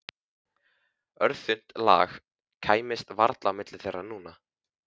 Örþunnt lak kæmist varla á milli þeirra núna.